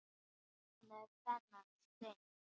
Hvað með þennan stein?